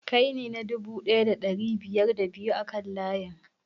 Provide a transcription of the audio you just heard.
Kai ne na dubu ɗaya da ɗari biyar da biyu a kan layin?